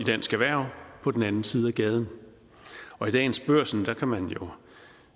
dansk erhverv på den anden side af gaden og i dagens børsen kan man jo